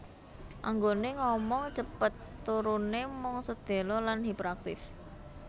Anggone ngomong cepet turune mung sedhela lan hiperaktif